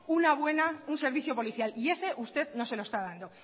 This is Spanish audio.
una buena un servicio policial y ese usted no se lo está dando